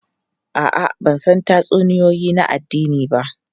A'a, ban san tatsuniyoyi na addini ba.